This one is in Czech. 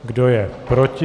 Kdo je proti?